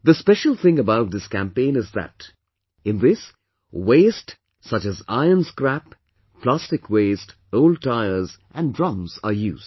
The special thing about this campaign is that, in this, waste such as iron scrap, plastic waste, old tires and drums are used